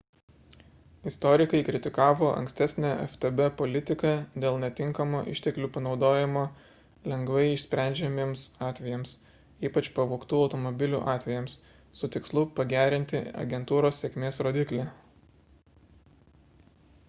istorikai kritikavo ankstesnę ftb politiką dėl netinkamo išteklių panaudojimo lengvai išsprendžiamiems atvejams ypač pavogtų automobilių atvejams su tikslu pagerinti agentūros sėkmės rodiklį